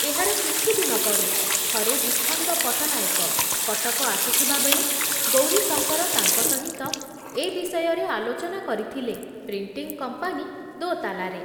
ଏହାର କିଛି ଦିନ ପରେ ଥରେ ବିଚ୍ଛନ୍ଦ ପଟନାୟକ କଟକ ଆସିଥିବା ବେଳେ ଗୌରୀଶଙ୍କର ତାଙ୍କ ସହିତ ଏ ବିଷୟରେ ଆଲୋଚନା କରିଥିଲେ ପ୍ରିଣ୍ଟିଂ କମ୍ପାନୀ ଦୋତାଲାରେ ।